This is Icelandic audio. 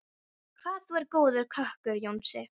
Hvað þú er góður kokkur, Jónsi.